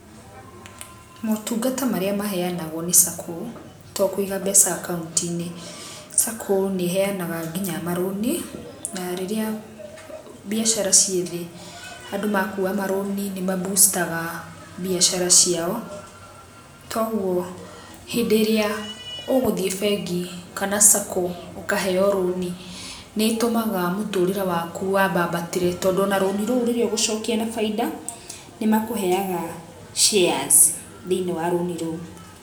Motungata marĩa maheyanagwo nĩ Sacco to kũiga mbeca akaunti-inĩ, Sacco nĩheyanaga nginya marũni. Na rĩrĩa biacara ciĩ thĩ, andũ makua marũni nĩ mabucitaga biacara ciao. kwoguo hĩndĩ ĩrĩa ũgũthiĩ bengi kana Sacco ũkaheyo rũni, nĩtũmaga mũtũrĩre waku wambambatĩre, tondũ o na rũni rũu rĩrĩa ũgũcokia na bainda, nĩmakũheyaga shares thĩiniĩ wa rũni rũu.